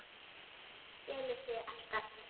Guð geymi þig alltaf.